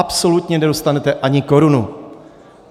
Absolutně nedostanete ani korunu.